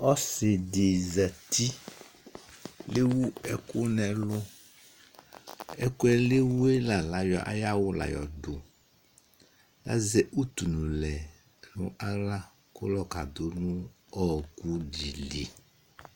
ɔsi di zati lewu ɛkò n'ɛlu ɛkòɛ le wue la ayɔ ayi awu la yɔ do la zɛ utu no lɛ no ala kò lɔ ka do no ɔkò di li